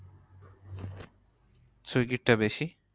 swiggy র তা বেশি।